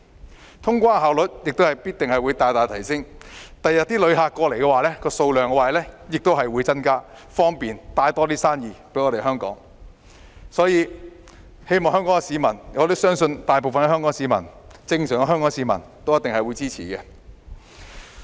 此外，通關效率必定會大大提升，他日來港旅客的人數亦會增加，為香港帶來更多生意，所以我相信大部分正常的香港市民都一定會支持。